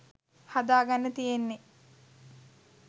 හදාගන්න තියෙන්නෙ.